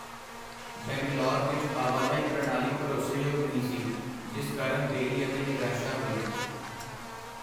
ਬੰਗਲੌਰ ਵਿੱਚ ਆਵਾਜਾਈ ਪ੍ਰਣਾਲੀ ਭਰੋਸੇਯੋਗ ਨਹੀਂ ਸੀ, ਜਿਸ ਕਾਰਨ ਦੇਰੀ ਅਤੇ ਨਿਰਾਸ਼ਾ ਹੋਈ।